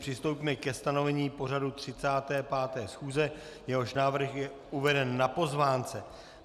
Přistoupíme ke stanovení pořadu 35. schůze, jehož návrh je uveden na pozvánce.